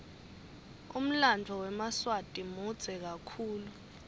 umlanduo wemaswati mudze kakhulu